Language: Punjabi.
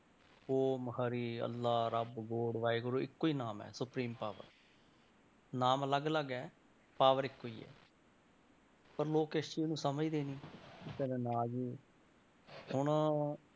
ਓਮ ਹਰੀ ਅੱਲਾਹ, ਰੱਬ ਵਾਹਿਗੁਰੂ ਇੱਕੋ ਹੀ ਨਾਮ ਹੈ supreme power ਨਾਮ ਅਲੱਗ ਅਲੱਗ ਹੈ power ਇੱਕੋ ਹੀ ਹੈ ਪਰ ਲੋਕ ਇਸ ਚੀਜ਼ ਨੂੰ ਸਮਝਦੇ ਨੀ ਕਹਿੰਦਾ ਨਾ ਜੀ ਹੁਣ